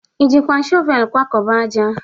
Ị jikwa shọvel kwakọba ájá?